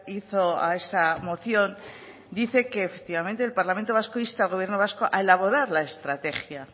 hizo a esa moción dice que efectivamente el parlamento vasco insta al gobierno vasco a elaborar la estrategia